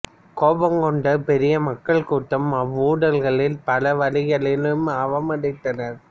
கோபங்கொண்ட பெரிய மக்கள் கூட்டம் அவ்வுடல்களைப் பல வழிகளிலும் அவமதித்தனர்